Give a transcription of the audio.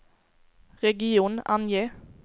region, ange